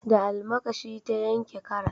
Da almakashi ta yanke karas